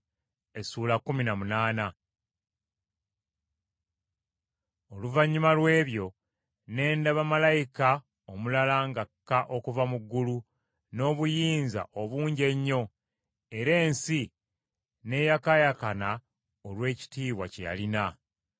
Oluvannyuma lw’ebyo ne ndaba malayika omulala ng’akka okuva mu ggulu n’obuyinza obungi ennyo era ensi n’eyakaayakana olw’ekitiibwa kye yalina.